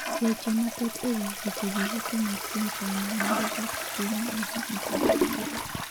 Weche mathoth e wi wechegi yuto mar piny China medo dok piny bang' higni 27